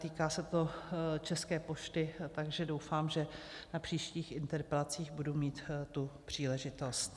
Týká se to České pošty, takže doufám, že na příštích interpelacích budu mít tu příležitost.